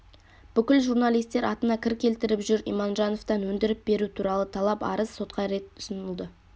бүкіл журналистер атына кір келтіріп жүр иманжановтан өндіріп беру туралы талап-арыз сотқа рет ұсынылды